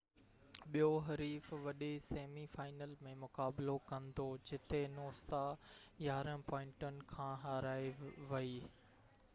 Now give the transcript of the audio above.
ٻيو حريف وڏي سيمي فائنل ۾ مقابلو ڪندو جتي نوسا 11 پوائنٽن کان هارائي ويئي